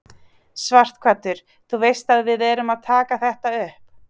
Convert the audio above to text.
Sighvatur: Þú veist að við erum að taka þetta upp?